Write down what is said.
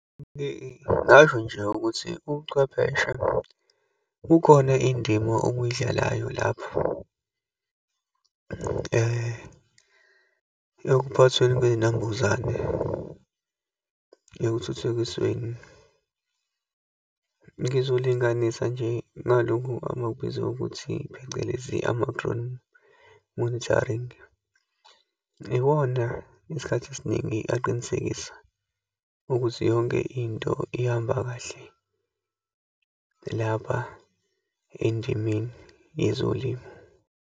Ngasho nje ukuthi uchwepheshe, kukhona indima okuyidlalayo lapho, ekuphathweni kweyinambuzane, ekuthuthukisweni. Ngizolinganisa nje ngalokhu abakubiza ukuthi phecelezi, ama-drone monitoring. Iwona isikhathi esiningi aqinisekisa ukuthi yonke into ihamba kahle, lapha endimeni yezolimo.